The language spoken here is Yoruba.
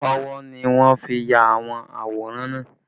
Ọwọ́ ni wọ́n fi ya àwọn àwòrán náà